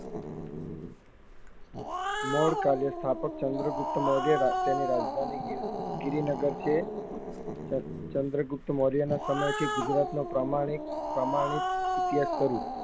નોરકાલીય સ્થાપક ચંદ્રગુપ્ત મોરયરાજ તેની રાજધાની ગિરિ ગિરનગર છે ચંદ્ર ચંદ્રગુપ્ત મોરય નો સમય છે ગુજરાત નું પ્રામાણિક સમાવીત ઇતિહાસ કર્યું